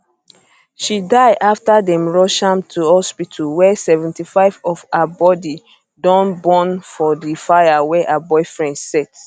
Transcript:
she die afta dem rush am to hospital wia 75 of her body don burn for di fire wey her boyfriend set